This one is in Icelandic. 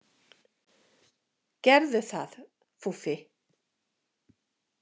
Gerðu það, Fúffi.